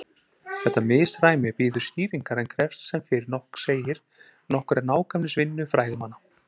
Þetta misræmi bíður skýringar en krefst sem fyrr segir nokkurrar nákvæmnisvinnu fræðimanna.